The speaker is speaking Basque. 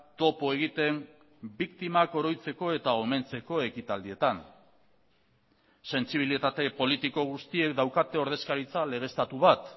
topo egiten biktimak oroitzeko eta omentzeko ekitaldietan sentsibilitate politiko guztiek daukate ordezkaritza legeztatu bat